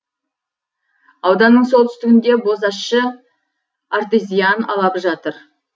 ауданның солтүстігінде бозащы артезиан алабы жатыр